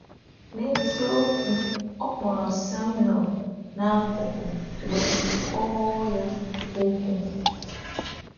N’eziokwu, ọ kpọrọ Samuel n’akụkụ wee kọọ ya okwu.